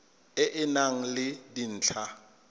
e e nang le dintlha